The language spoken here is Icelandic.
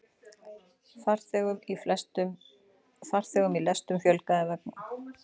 Farþegum í lestum fjölgaði vegna öskunnar